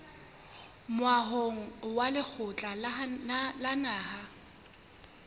moahong wa lekgotla la naha